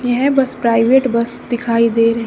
येह bus private bus दिखाई दे--